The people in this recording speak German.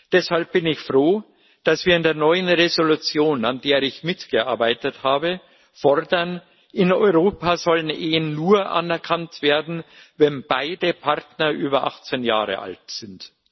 Deshalb bin ich froh, dass wir in der neuen Entschließung, an der ich mitgearbeitet habe, fordern In Europa sollen Ehen nur anerkannt werden, wenn beide Partner über 18 Jahre alt sind.